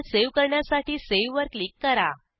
file save करण्यासाठीSave वर click करा